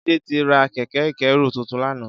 Jide ti rà kẹ̀kẹ̀ ikẹ̀rú tútún làná